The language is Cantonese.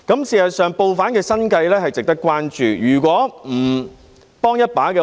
事實上，報販的生計是值得關注的。